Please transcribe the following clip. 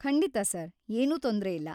ಖಂಡಿತಾ ಸರ್‌, ಏನೂ ತೊಂದ್ರೆ ಇಲ್ಲ.